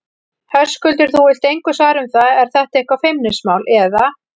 Höskuldur: Þú vilt engu svara um það, er þetta eitthvað feimnismál, eða?